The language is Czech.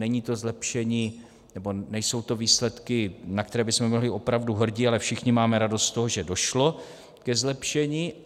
Není to zlepšení, nebo nejsou to výsledky, na které bychom byli opravdu hrdí, ale všichni máme radost z toho, že došlo ke zlepšení.